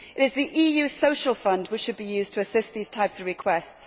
It is the EU's Social Fund which should be used to assist these types of requests.